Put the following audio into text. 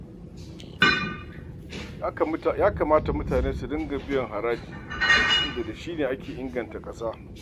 Ya kamata mutane su dinga biyan haraji wanda da shi ne ake ingata ƙasa.